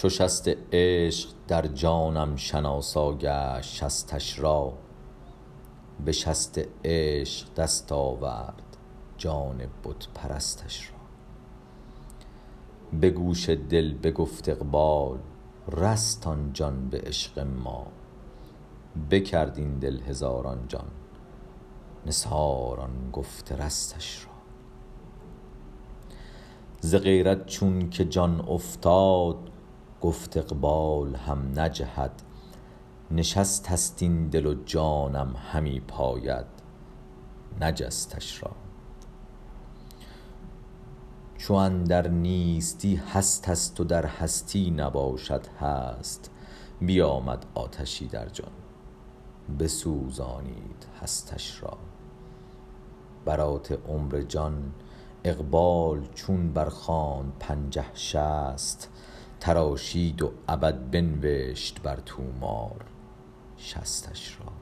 چو شست عشق در جانم شناسا گشت شستش را به شست عشق دست آورد جان بت پرستش را به گوش دل بگفت اقبال رست آن جان به عشق ما بکرد این دل هزاران جان نثار آن گفت رستش را ز غیرت چونک جان افتاد گفت اقبال هم نجهد نشستست این دل و جانم همی پاید نجستش را چو اندر نیستی هستست و در هستی نباشد هست بیامد آتشی در جان بسوزانید هستش را برات عمر جان اقبال چون برخواند پنجه شصت تراشید و ابد بنوشت بر طومار شصتش را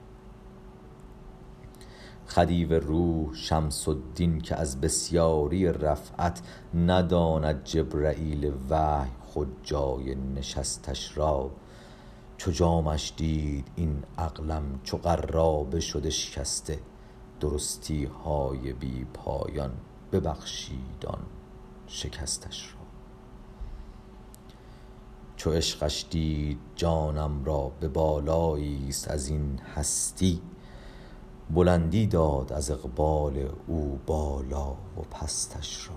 خدیو روح شمس الدین که از بسیاری رفعت نداند جبرییل وحی خود جای نشستش را چو جامش دید این عقلم چو قرابه شد اشکسته درستی های بی پایان ببخشید آن شکستش را چو عشقش دید جانم را به بالای یست از این هستی بلندی داد از اقبال او بالا و پستش را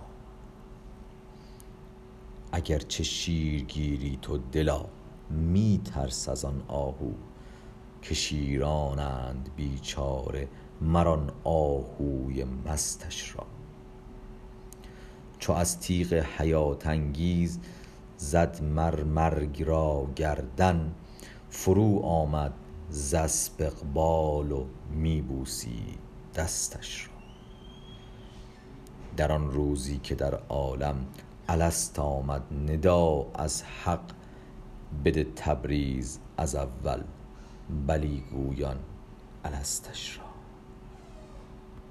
اگر چه شیرگیری تو دلا می ترس از آن آهو که شیرانند بیچاره مر آن آهوی مستش را چو از تیغ حیات انگیز زد مر مرگ را گردن فروآمد ز اسپ اقبال و می بوسید دستش را در آن روزی که در عالم الست آمد ندا از حق بده تبریز از اول بلی گویان الستش را